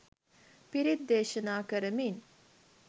පිරිත් දේශනා කරමින්